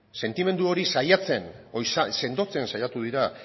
sentimendu hori sendotzen saiatu dira